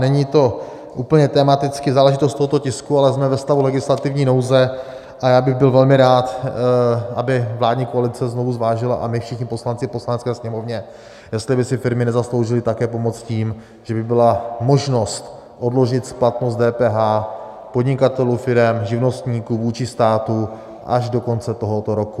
Není to úplně tematicky záležitost tohoto tisku, ale jsme ve stavu legislativní nouze a já bych byl velmi rád, aby vládní koalice znovu zvážila, a my všichni poslanci v Poslanecké sněmovně, jestli by si firmy nezasloužily také pomoc tím, že by byla možnost odložit splatnost DPH podnikatelů, firem, živnostníků vůči státu až do konce tohoto roku.